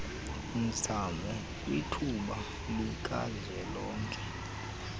mzamo kwithuba likazwelonke